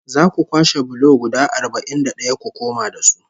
Za ku kwashe bulo guda arba'in da ɗaya ku koma da su